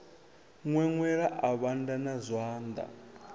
ṅweṅwela a vhanda na zwanḓa